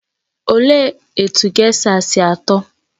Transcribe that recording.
Olee etu gésha sị atọ?